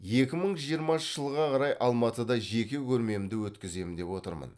екі мың жиырмасыншы жылға қарай алматыда жеке көрмемді өткіземін деп отырмын